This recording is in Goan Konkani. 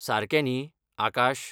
सारकें न्ही, आकाश?